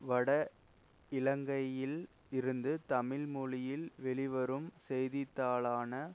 வட இலங்கையில் இருந்து தமிழ் மொழியில் வெளிவரும் செய்தித்தாளான